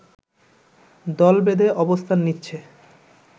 দলবেঁধে অবস্থান নিচ্ছে